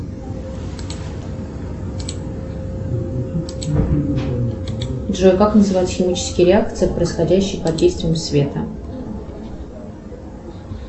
джой как называются химические реакции происходящие под действием света